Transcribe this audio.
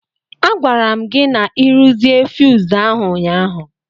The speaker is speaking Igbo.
A gwara m gi na-ịruzie fuyuz ahụ ụnyaahụ.